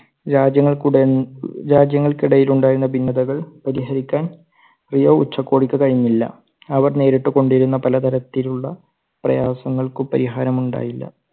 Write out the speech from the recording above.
രാജ്യങ്ങൾ രാജ്യങ്ങൾക്കിടയിൽ ഉണ്ടായിരുന്ന ഭിന്നതകൾ പരിഹരിക്കാൻ റിയോ ഉച്ചകോടിക്ക് കഴിഞ്ഞില്ല. അവർ നേരിട്ട് കൊണ്ടിരുന്ന പലതരത്തിലുള്ള പ്രയാസങ്ങൾക്ക് പരിഹാരം ഉണ്ടായില്ല.